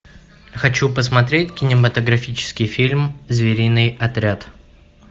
хочу посмотреть кинематографический фильм звериный отряд